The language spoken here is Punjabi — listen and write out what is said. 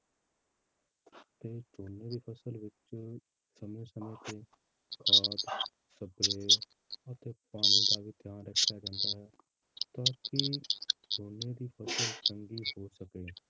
ਕਿ ਝੋਨੇ ਦੀ ਫਸਲ ਵਿੱਚ ਸਮੇਂ ਸਮੇਂ ਤੇ ਖਾਦ spray ਅਤੇ ਪਾਣੀ ਦਾ ਵੀ ਧਿਆਨ ਰੱਖਿਆ ਜਾਂਦਾ ਹ ਤਾਂ ਕਿ ਝੋਨੇ ਦੀ ਫਸਲ ਚੰਗੀ ਹੋ ਸਕੇ,